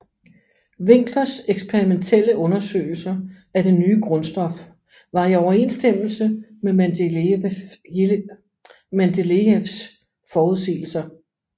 Winklers eksperimentielle undersøgelser af det nye grundstof var i overenstemmelse med Mendelejevs forudsigelser